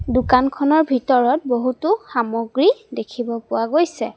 দোকানখনৰ ভিতৰত বহুতো সামগ্ৰী দেখিব পোৱা গৈছে।